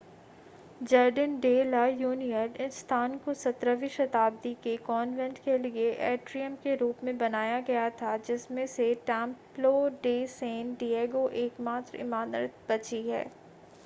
jardin de la Union इस स्थान को 17 वीं शताब्दी के कॉन्वेंट के लिए एट्रियम के रूप में बनाया गया था जिसमें से टेम्प्लो डे सैन डिएगो एकमात्र इमारत बची है